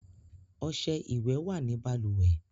Ọṣẹ ìwẹ̀ wà ní balùwẹ̀